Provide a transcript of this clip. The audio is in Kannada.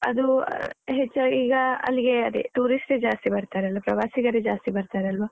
ಅದು ಹೆಚ್ಚಾಗಿ ಈಗ ಅಲ್ಲಿಗೆ ಅದೆ, tourist ಯೇ ಜಾಸ್ತಿ ಬರ್ತರಲ್ಲ, ಪ್ರವಾಸಿಗರೇ ಜಾಸ್ತಿ ಬರ್ತರಲ್ವ.